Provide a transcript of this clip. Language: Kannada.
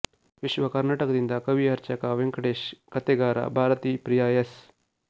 ವಿಶ್ವ ಕರ್ನಾಟಕದಿಂದ ಕವಿ ಅರ್ಚಕ ವೆಂಕಟೇಶ ಕತೆಗಾರ ಭಾರತೀಪ್ರಿಯ ಎಸ್